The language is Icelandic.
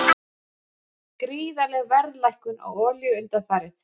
Gríðarleg verðlækkun á olíu undanfarið